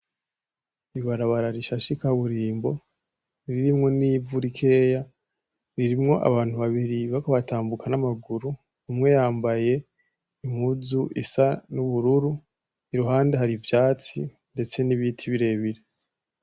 Ibarabara rishashe ikaburimbo ririmwo nivu rikeya ririmwo abantu babiri bariko batambuka n'amaguru umwe yambaye impuzu isa nubururu iruhande hari ivyatsi ndetse nibiti birebire.